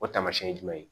O taamasiyɛn ye jumɛn ye